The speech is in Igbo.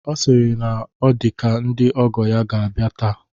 Ọ sịrị na ọ dị ka ndị ọgọ ya a ga-abịa taa.